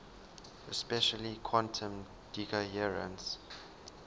especially quantum decoherence